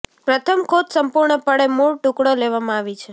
પ્રથમ ખોજ સંપૂર્ણપણે મૂળ ટુકડો લેવામાં આવી છે